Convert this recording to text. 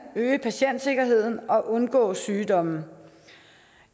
øge patientsikkerheden og undgå sygdomme